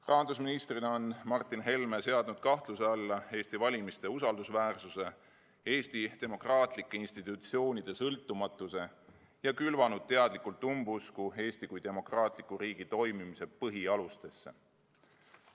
Rahandusministrina on Martin Helme seadnud kahtluse alla Eesti valimiste usaldusväärsuse ja Eesti demokraatlike institutsioonide sõltumatuse ning külvanud teadlikult umbusku Eesti kui demokraatliku riigi toimimise põhialustesse.